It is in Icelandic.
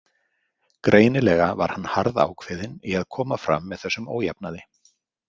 Greinilega var hann harðákveðinn í að koma fram þessum ójafnaði.